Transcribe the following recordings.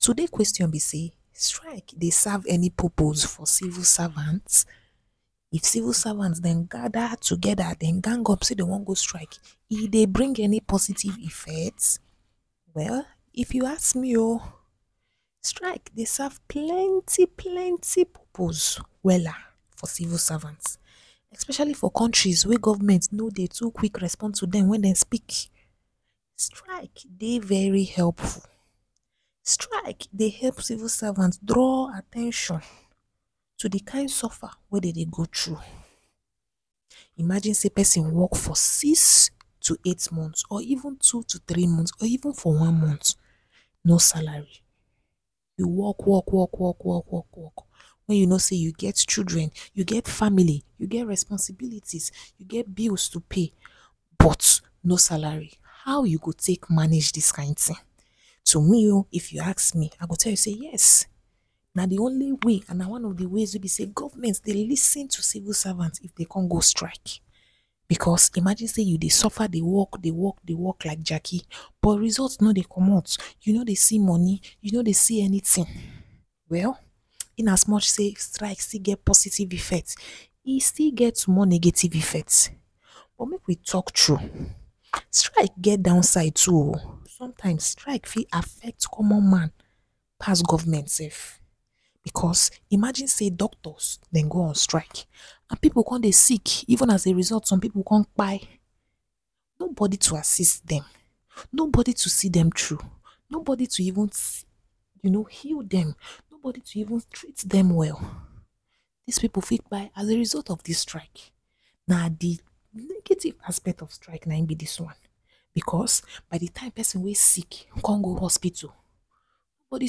So dis question be say strike dey serve any purpose for civil servant? if civil servant dem gather together dem gang up say dey wan go strike, e dey bring any positive effect? Well if you ask me oh strike dey serve plenty plenty purpose wella for civil servants especially for country way government no dey to quick response to dem when dey speak. Strike dey very helpful, strike dey help civil servants draw at ten tion to di kind suffer way dey dey go through. Imagine say person work for six to eight months or even two to three months, or even for one month no salary, work work work work work, way you know say you get children, you get family, you get responsibilities, you get bills to pay but no salary. How u go take manage dis kind tin? To me oh if you ask me, I go talk say yes na de only way and na one of de best ways way be say government dey lis ten to civil servants if dey come go strike, because imagine say you dey suffer de work, dey work dey work like jaki but results no dey commot. You no dey see money, you no dey see anything. Well, in as much say strike still get positive effect, e still get one negative effect, but make we take true. Strike get downside to o, sometimes strike fit affect common man pass government sef, because imagine say doctors dem go on strike, and people come dey sick even as a result some people come kpai. Nobody to assist dem, nobody to see dem through, no body to even se… you know heal dem, nobody to even treat them well. These people fit kpai as a result of dis strike. Na de negative aspect of strike na im be dis one, because by the time way sick con go hospital, nobody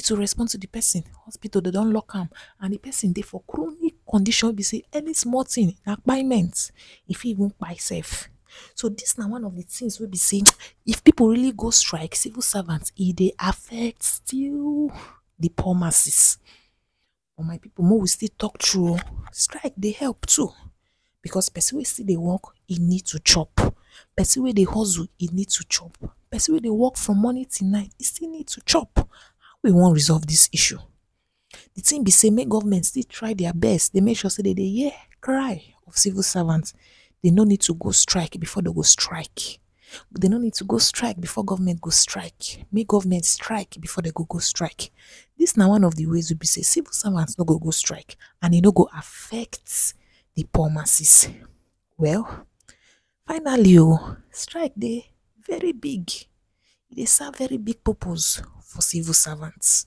to response to the person. Hospital dem don lock am and the person dey for chronic condition way be say any small thing na kpaiment, e feet even kpai sef. So this na one of the things way be say if people really go strike, civil servant, e dey affect till the poor masses. My people mo still talk true oh, strike dey help to, because person way still dey work he need to chop, person way dey hustle, he need to chop, person way dey work from morning till night he still need to chop. How we wan resolve dis issue? de thing be say make government dey try their best dey make sure say dey dey hear cry way civil servant. Dey no need to go strike before dey go strike, dey no need to go strike before government go strike. Make government strike before dem go go strike. dis na one of de ways way be say civil servant no go go strike and e no go affect de power masses. Well, finally oh strike dey vey big, e dey serve very big purpose for civil servant.